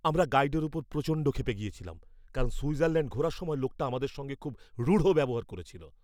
আমরা গাইডের ওপর প্রচণ্ড ক্ষেপে গেছিলাম কারণ সুইজারল্যাণ্ড ঘোরার সময় লোকটা আমাদের সঙ্গে খুব রূঢ় ব্যবহার করেছিল।